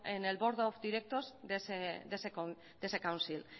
en el board of directors de ese council